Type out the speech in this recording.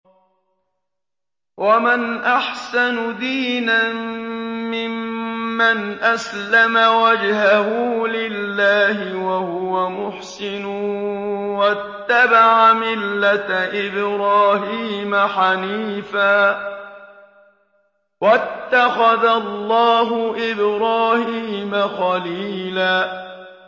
وَمَنْ أَحْسَنُ دِينًا مِّمَّنْ أَسْلَمَ وَجْهَهُ لِلَّهِ وَهُوَ مُحْسِنٌ وَاتَّبَعَ مِلَّةَ إِبْرَاهِيمَ حَنِيفًا ۗ وَاتَّخَذَ اللَّهُ إِبْرَاهِيمَ خَلِيلًا